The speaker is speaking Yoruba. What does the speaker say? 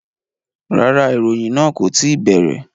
Rárá, ìròyìn náà kò tí ì bẹ̀rẹ̀